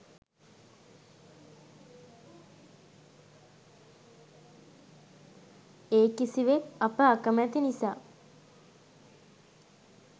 ඒ කිසිවෙක් අප අකමැති නිසා